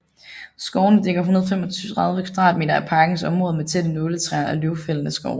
Skovene dækker 135 km2 af parkens område med tætte nåletræer og løvfældende skove